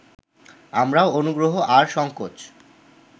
আমরাও অনুগ্রহ আর সঙ্কোচ